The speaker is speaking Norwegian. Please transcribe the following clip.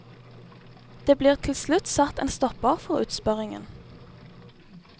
Det blir til slutt satt en stopper for utspørringen.